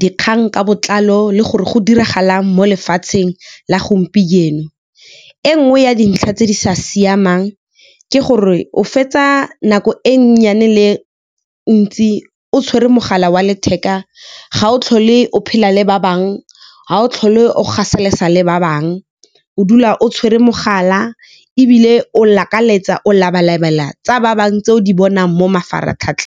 dikgang ka botlalo le gore go diragalang mo lefatsheng la gompieno. E nngwe ya dintlha tse di sa siamang ke gore o fetsa nako e nnyane le ntsi o tshwere mogala wa letheka, ga o tlhole o phela le ba bangwe ga o tlhole o gaselesa le ba bangwe, o dula o tshwere mogala ebile o lakaletsa o labalabela tsa ba bangwe, tse o di bonang mo mafaratlhatlheng.